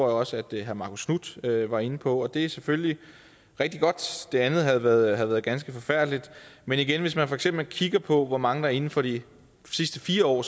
også at herre marcus knuth var inde på og det er selvfølgelig rigtig godt andet havde været ganske forfærdeligt men igen hvis man for eksempel kigger på hvor mange der inden for de sidste fire år